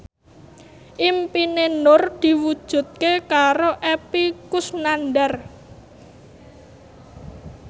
impine Nur diwujudke karo Epy Kusnandar